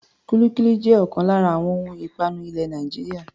Kúlíkúlí jẹ́ ọ̀kan lára àwọn ohun ìpanu ilẹ̀ Nàìjíríà.